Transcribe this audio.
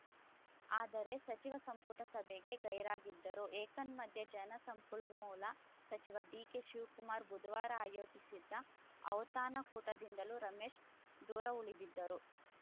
ಆದರೆ ಸಚಿವ ಸಂಪುಟ ಸಭೆಗೆ ಗೈರಾಗಿದ್ದರು ಏತನ್ಮಧ್ಯೆ ಜಲಸಂಪನ್ಮೂಲ ಸಚಿವ ಡಿಕೆಶಿವಕುಮಾರ್‌ ಬುಧವಾರ ಆಯೋಜಿಸಿದ್ದ ಔತಣಕೂಟದಿಂದಲೂ ರಮೇಶ್‌ ದೂರವುಳಿದಿದ್ದರು